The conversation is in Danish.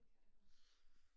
Det kan der godt